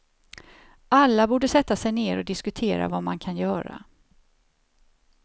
Alla borde sätta sig ner och diskutera vad man kan göra.